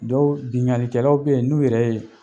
Dɔw biŋalikɛlaw bɛ ye n'u yɛrɛ ye